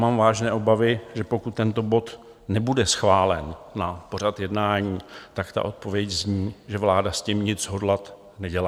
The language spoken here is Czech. Mám vážné obavy, že pokud tento bod nebude schválen na pořad jednání, tak ta odpověď zní, že vláda s tím nic hodlat nedělá.